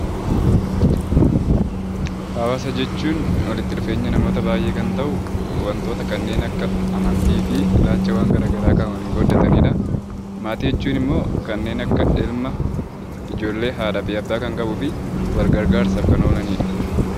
Hawaasa jechuun walitti dhufeenya namoota baay'ee kan ta'u wantoota kanneen akka amantii fi ilaalchaawwan garaagaraa kan waliin qooddatanidha. Maatii jechuun immoo kanneen akka ilma, ijoollee, abbaa, haadha kan qabuu fi wal gargaarsaaf kan oolanidha.